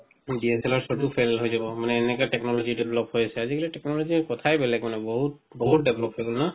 DSLR চবও fail হয় যাব মানে এনেকা technology develop হৈছে আজি-কালি technology ৰ কথাই বেলেগ মানে বহুত বহুত develop হৈ গল না